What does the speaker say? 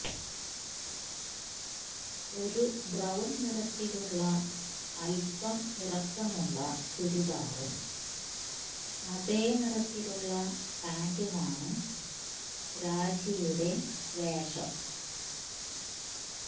ഒരു ബ്രൌൺ നിറത്തിലുള്ള അല്പം ഇറുക്കമുള്ള ചുരിദാറും അതെ നിറത്തിലുള്ള പാന്റുമാണ് രാജിയുടെ വേഷം